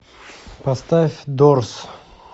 поставь дорс